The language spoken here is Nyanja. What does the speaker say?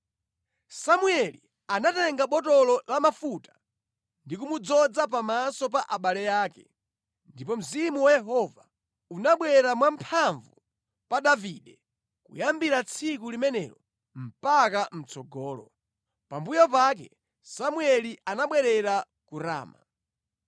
Samueli anatenga botolo la mafuta ndi kumudzoza pamaso pa abale ake, ndipo Mzimu wa Yehova unabwera mwamphamvu pa Davide kuyambira tsiku limenelo mpaka mʼtsogolo. Pambuyo pake Samueli anabwerera ku Rama.